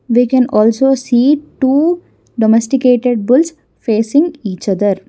We can also see two domesticated bulls facing each other.